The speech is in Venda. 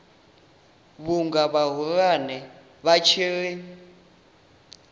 vhunga vhahulwane vha tshi ri